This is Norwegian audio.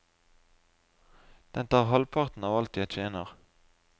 Den tar halvparten av alt jeg tjener.